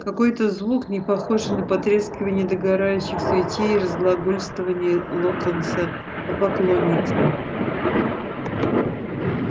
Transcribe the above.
какой-то звук непохожий на потрескивание догорающих свечей и разглагольствования локонса о поклонницах